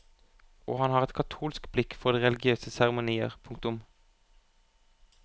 Og han har et katolsk blikk for de religiøse seremonier. punktum